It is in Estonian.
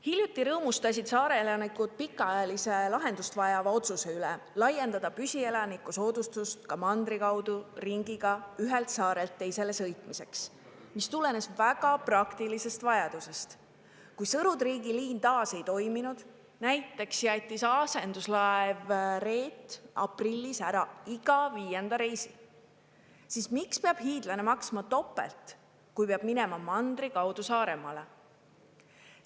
Hiljuti rõõmustasid saare elanikud pikaajalise lahendust vajava otsuse üle laiendada püsielaniku soodustust ka mandri kaudu ringiga ühelt saarelt teisele sõitmiseks, mis tulenes väga praktilisest vajadusest, Kui Sõru-Triigi liin taas ei toiminud, näiteks jättis asenduslaev Reet aprillis ära iga viienda reisi, siis miks peab hiidlane maksma topelt, kui peab minema mandri kaudu Saaremaale?